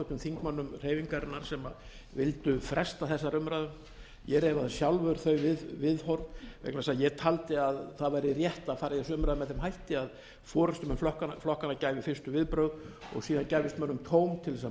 þingmönnum hreyfingarinnar sem vildu fresta þessari umræðu ég reifaði sjálfur þau viðhorf vegna þess að ég taldi að það væri rétt að fara í þessa umræðu með þeim hætti að forustumenn flokkanna gæfu fyrstu viðbrögð og síðan gæfist mönnum tóm til þess að